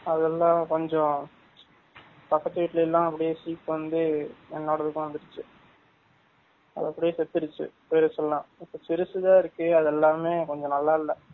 அதேல்லாம் கொஞ்சம் பக்கத்து வீட்லலை எல்லாம் அப்டியே சீக்கு வந்து என்னோடதுக்கும் வந்துருச்சு அது அப்டியே செத்துருச்சு பேருசு எல்லாம், சிருசு தான் இருக்கு அதெல்லாம் கொஞ்சம் னல்லா இல்ல